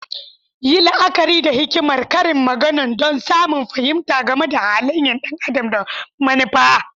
Yi la'akari da hikimar karin magana don samun fahimta game da halayen ɗan adam da manufa.